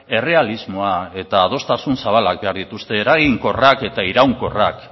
errealismoa eta adostasun zabalak behar dituzte eraginkorrak eta iraunkorrak